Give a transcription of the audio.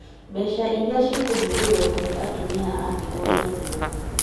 Mbeca iria cikũhũthĩrwo kũhe atumia a ndigwa irio